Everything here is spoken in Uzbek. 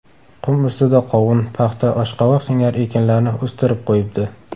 Qum ustida qovun, paxta, oshqovoq singari ekinlarni o‘stirib qo‘yibdi.